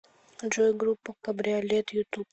джой группа кабриолет ютуб